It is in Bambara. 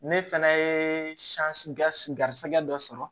Ne fɛnɛ ye garisɛgɛ dɔ sɔrɔ